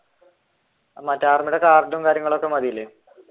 മറ്റേ ആർമിയുടെ കാർഡും കാര്യങ്ങളും ഒക്കെ മതിയില്ലേ?